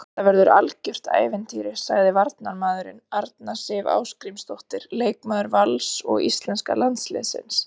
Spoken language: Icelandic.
Þetta verður algjört ævintýri, sagði varnarmaðurinn, Arna Sif Ásgrímsdóttir leikmaður Vals og íslenska landsliðsins.